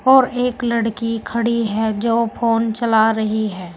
और एक लड़की खड़ी है जो फोन चला रही है।